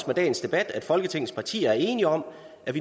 med dagens debat at folketingets partier bliver enige om